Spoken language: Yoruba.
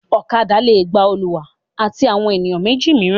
Ọ̀kadà le gba olùwà àti àwọn ènìyàn méjì mìíràn.